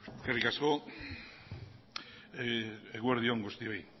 eskerrik asko eguerdi on guztioi